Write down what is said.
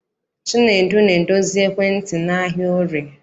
Chinedu na-edozi ekwentị n'ahịa Orie.